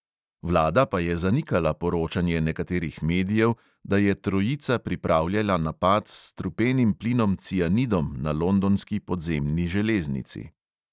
Vlada pa je zanikala poročanje nekaterih medijev, da je trojica pripravljala napad s strupenim plinom cianidom na londonski podzemni železnici.